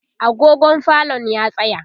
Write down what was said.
agogon falon ya tsaya